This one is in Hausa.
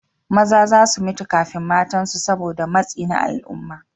Maza za su mutu kafin matansu saboda matsi na al'umma.